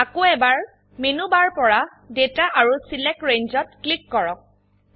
আকৌ এবাৰ menu bar পৰা ডাটা আৰু ছিলেক্ট Rangeত ক্লিক কৰক